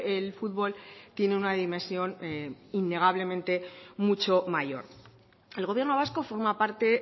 el futbol tiene una dimensión innegablemente mucho mayor el gobierno vasco forma parte